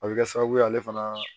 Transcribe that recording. A bɛ kɛ sababu ye ale fana